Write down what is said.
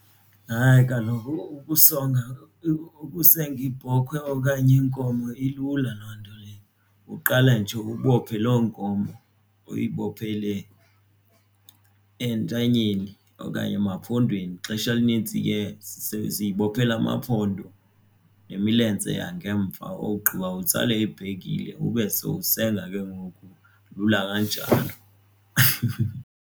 Hayi kaloku ukusenga ibhokhwe okanye inkomo ilula loo nto leyo. Uqala nje uyibophe loo nkomo uyibophelele entanyeni okanye emampondweni. Ixesha elinintsi ke siyibophelela amaphondo nemilenze yangemva ogqiba utsale ibhekile ube sowusenza ke ngoku lula kanjalo.